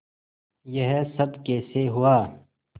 यह सब कैसे हुआ